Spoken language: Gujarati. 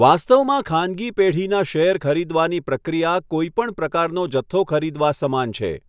વાસ્તવમાં ખાનગી પેઢીના શેર ખરીદવાની પ્રક્રિયા કોઇપણ પ્રકારનો જથ્થો ખરીદવા સમાન છે.